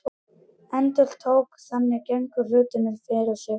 Endurtók að þannig gengju hlutirnir fyrir sig.